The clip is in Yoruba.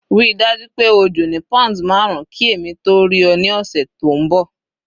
Ríi dájú pé o jò ní pounds marun ki èmi tó rí ọ ní ọ̀sẹ̀ tó ń bọ̀.